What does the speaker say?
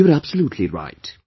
You are absolutely right